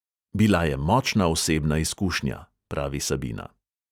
"Bila je močna osebna izkušnja," pravi sabina.